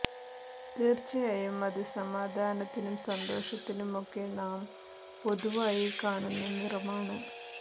തീർച്ചയായും അത് സമാധാനത്തിനും സന്തോഷത്തിനും ഒക്കെ നാം പൊതുവായി കാണുന്ന നിറമാണ്